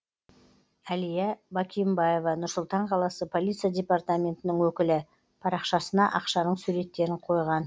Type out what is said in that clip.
әлия бакимбаева нұр сұлтан қаласы полиция департаментінің өкілі парақшасына ақшаның суреттерін қойған